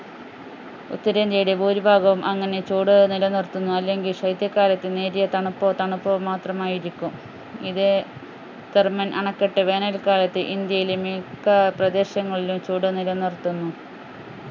ഉത്തരേന്ത്യയുടെ ഭൂരിഭാഗവും അങ്ങനെ ചൂട് നിലനിർത്തുന്നു അല്ലെങ്കിൽ ശൈത്യകാലത്തെ നേരിയ തണുപ്പോ തണുപ്പോ മാത്രമായിരിക്കും ഇത് അണക്കെട്ട് വേനൽക്കാലത്ത് ഇന്ത്യയിലെ മിക്ക പ്രദേശങ്ങളിലും ചൂട് നിലനിർത്തുന്നു